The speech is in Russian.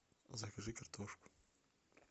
закажи картошку